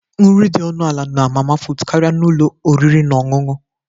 Nri dị ọnụ ala na mama put karịa n'ụlọ oriri na ọṅụṅụ